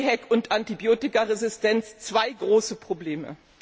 EHEC und Antibiotikaresistenz zwei große Probleme.